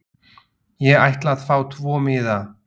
Ég ætla að fá tvo miða.